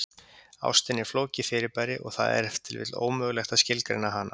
Ástin er flókið fyrirbæri og það er ef til vill ómögulegt að skilgreina hana.